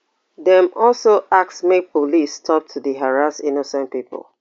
dem also ask make police stop to dey harass innocent pipo